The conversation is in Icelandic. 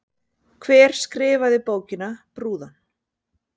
Hver skrifaði bókina Brúðan?